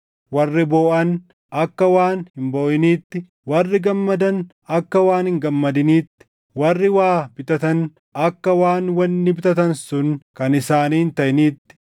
warri booʼan akka waan hin booʼiniitti, warri gammadan akka waan hin gammadiniitti, warri waa bitatan akka waan wanni bitatan sun kan isaanii hin taʼiniitti,